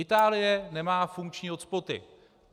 Itálie nemá funkční hotspoty.